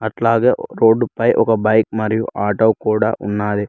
ఇట్లాగే రోడ్డు పై ఒక బైక్ మరియు ఆటో కూడా ఉన్నాది.